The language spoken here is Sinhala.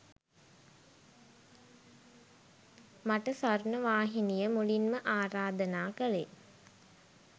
මට ස්වර්ණවාහිනිය මුලින්ම ආරාධනා කළේ